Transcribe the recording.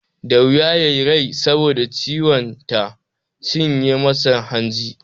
Da wuya ya yi rai saboda ciwon ta cinye masa hanji.